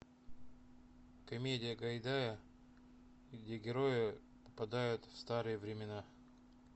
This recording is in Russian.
комедия гайдая где герои попадают в старые времена